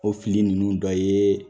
O fili ninnu dɔ ye